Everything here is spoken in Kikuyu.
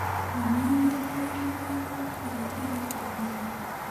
Nyonia nyũmba ya mathako ĩrĩa ĩ hakuhĩ mũno .